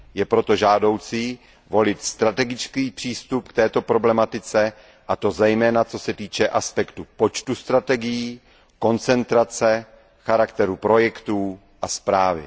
Je proto žádoucí volit strategický přístup k této problematice, a to zejména co se týče aspektu počtu strategií, koncentrace, charakteru projektů a správy.